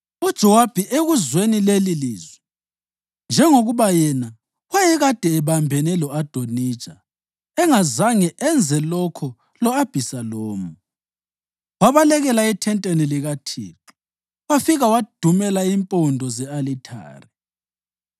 UJowabi ekuzweni lelilizwi, njengoba yena wayekade ebambene lo-Adonija engazange enze lokho lo-Abhisalomu, wabalekela ethenteni likaThixo wafika wadumela impondo ze-alithare.